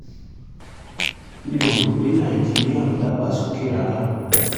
mi ò rò pé nàìjíríà ń dàgbàsókè rárá